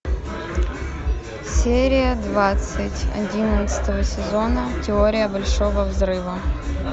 серия двадцать одиннадцатого сезона теория большого взрыва